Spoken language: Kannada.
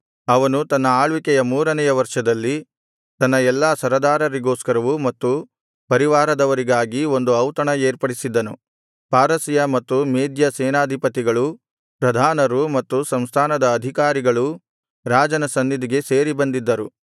ಅವನು ತನ್ನ ಆಳ್ವಿಕೆಯ ಮೂರನೆಯ ವರ್ಷದಲ್ಲಿ ತನ್ನ ಎಲ್ಲಾ ಸರದಾರರಿಗೋಸ್ಕರವೂ ಮತ್ತು ಪರಿವಾರದವರಿಗಾಗಿ ಒಂದು ಔತಣ ಏರ್ಪಡಿಸಿದ್ದನು ಪಾರಸಿಯ ಮತ್ತು ಮೇದ್ಯ ಸೇನಾಧಿಪತಿಗಳೂ ಪ್ರಧಾನರೂ ಮತ್ತು ಸಂಸ್ಥಾನದ ಅಧಿಕಾರಿಗಳೂ ರಾಜನ ಸನ್ನಿಧಿಗೆ ಸೇರಿ ಬಂದಿದ್ದರು